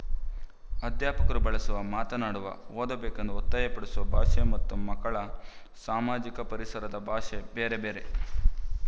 ಅಧ್ಯಾಪಕರು ಬಳಸುವ ಮಾತನಾಡುವ ಓದಬೇಕೆಂದು ಒತ್ತಾಯ ಪಡಿಸುವ ಭಾಷೆ ಮತ್ತು ಮಕ್ಕಳ ಸಾಮಾಜಿಕ ಪರಿಸರದ ಭಾಷೆ ಬೇರೆ ಬೇರೆ